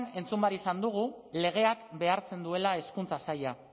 entzun behar izan dugu legeak behartzen duela hezkuntza saila